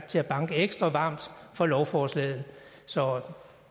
til at banke ekstra varmt for lovforslaget så